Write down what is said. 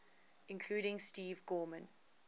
including steve gorman